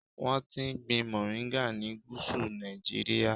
Wọ́n ti ń gbin mòríńgà ni Gúsù Nàìjíríà.